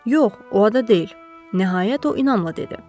“Yox, o ada deyil,” nəhayət o inamla dedi.